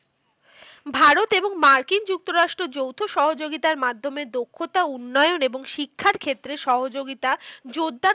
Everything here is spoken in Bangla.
ভারত এবং মার্কিন যুক্তরাষ্ট্র যৌথ সহযোগিতার মাধ্যমে দক্ষতা, উন্নয়ন এবং শিক্ষার ক্ষেত্রে সহযোগিতা জোরদার